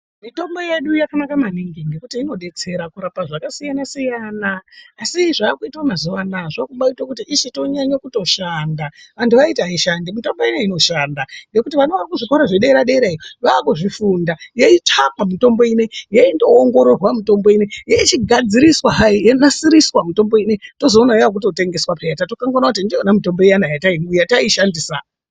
Mitombo yedu yakanaka maningi ngekuti inoshandiswa kurapa zvakasiyana siyana. Asi zvakuitwa mazuwa anaya zvakubaitoite kuti ichitonyanye kutoshanda. Vantu vaiti haishandi. Mitombo ineyi inoshanda ngekuti vana vari kuzvikora zvedera derayo, vakuzvifunda yeitsvakwa mitombo ineyi yaindoongororwa mitombo ineyi yechigadziriswa hai. Yonasiriswa mitombo ineyi. Tozoona yakutotengeswa pheya, tatokanganwa kuona kuti ndiyona mitombo iyana yataishandisa.